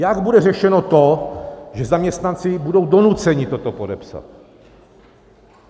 Jak bude řešeno to, že zaměstnanci budou donuceni toto podepsat?